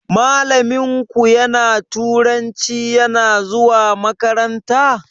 Malamin ku na turanci yana zuwa makaranta?